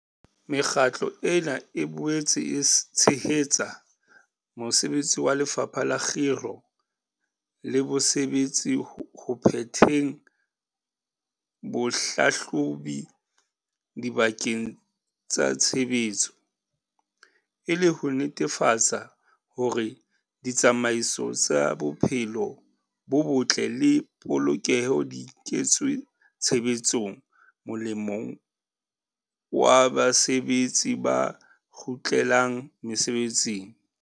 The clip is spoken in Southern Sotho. Mekgatlo ena e boetse e tshehetsa mosebetsi wa Lefapha la Kgiro le Bosebetsi ho phetheng bohlahlobi dibakeng tsa tshebetso, e le ho netefatsa hore ditsamaiso tsa bophelo bo botle le polokeho di kentswe tshebetsong molemong wa basebetsi ba kgutlelang mesebetsing.